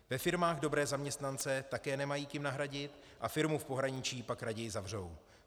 Ve firmách dobré zaměstnance také nemají kým nahradit a firmu v pohraničí pak raději zavřou.